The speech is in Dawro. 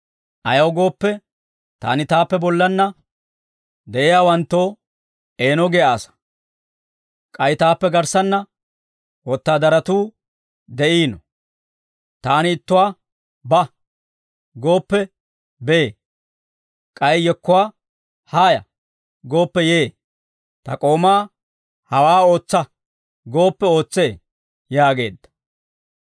Ayaw gooppe, taani taappe bollanna de'iyaawanttoo eeno giyaa asaa; k'ay taappe garssaanna wotaadaratuu de'iino. Taani ittuwaa, ‹Ba!› gooppe bee; k'ay yekkuwaa, ‹Haaya!› gooppe yee; ta k'oomaa, ‹Hawaa ootsa!› gooppe ootsee» yaageedda.